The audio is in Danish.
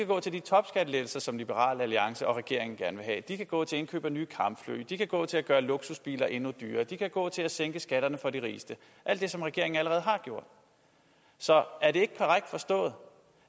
gå til de topskattelettelser som liberal alliance og regeringen gerne vil have de kan gå til indkøb af nye kampfly de kan gå til at gøre luksusbiler endnu billigere de kan gå til at sænke skatterne for de rigeste alt det som regeringen allerede har gjort så er det ikke korrekt forstået